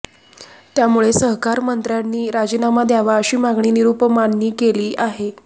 त्यामुळे सहकारमंत्र्यांनी राजीनामा द्यावा अशी मागणी निरुपमांनी केली आहे